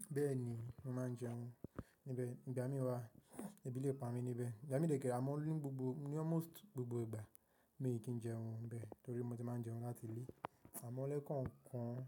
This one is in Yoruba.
Bẹ́ẹ̀ni, mo máa ń jẹun níbẹ̀. Ìgbà mí wa, ebi lè pa mi níbẹ̀. Ìgbà mí dè ké re, àmọ́ ni gbogbo- ní almost gbogbo ìgbà, mi kì í jẹun níbẹ̀ torí mo ti máa ń jẹun láti ilé. Àmọ́ ó lé kàn ń kàn.